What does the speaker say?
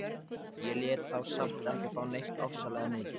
Ég lét þá samt ekki fá neitt ofsalega mikið.